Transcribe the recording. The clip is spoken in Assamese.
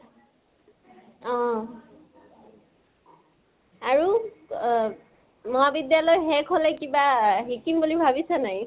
অহ। আৰু অহ মহাবিদ্য়ালয় শেষ হলে কিবা শিকিম বুলি ভাবিছা নে নাই?